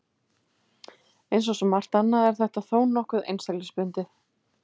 Eins og svo margt annað er þetta þó nokkuð einstaklingsbundið.